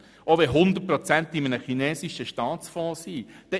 Auch wenn 100 Prozent in einem chinesischen Staatsfonds lägen: